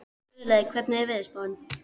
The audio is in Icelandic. Friðleif, hvernig er veðurspáin?